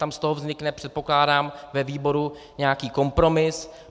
Tam z toho vznikne, předpokládám, ve výboru nějaký kompromis.